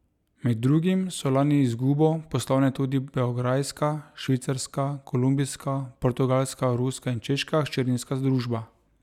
Med drugim so lani z izgubo poslovale tudi beograjska, švicarska, kolumbijska, portugalska, ruska in češka hčerinska družba.